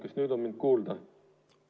Kas nüüd on mind kuulda?